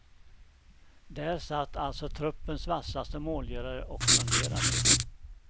Där satt alltså truppens vassaste målgörare och funderade.